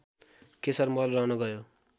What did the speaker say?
केशरमहल रहन गयो